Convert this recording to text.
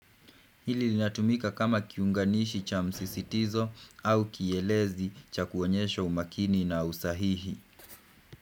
Hili linatumika kama kiunganishi cha msisitizo au kielezi cha kuonyesha umakini na usahihi.